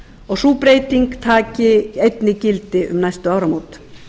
og sú breyting taki einnig gildi um næstu áramót